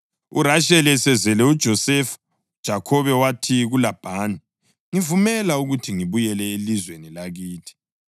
URasheli esezele uJosefa uJakhobe wathi kuLabhani, “Ngivumela ukuthi ngibuyele elizweni lakithi.